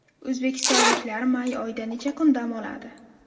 O‘zbekistonliklar may oyida necha kun dam oladi?.